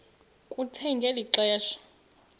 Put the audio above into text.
kuthe ngeli xesha